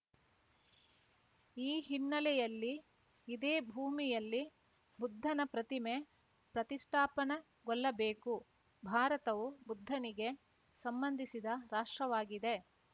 ಈ ಹಿನ್ನೆಲೆಯಲ್ಲಿ ಇದೇ ಭೂಮಿಯಲ್ಲಿ ಬುದ್ಧನ ಪ್ರತಿಮೆ ಪ್ರತಿಷ್ಠಾಪನಗೊಳ್ಳಬೇಕು ಭಾರತವು ಬುದ್ಧನಿಗೆ ಸಂಬಂಧಿಸಿದ ರಾಷ್ಟ್ರವಾಗಿದೆ